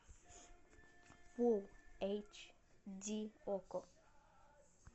фулл эйч ди окко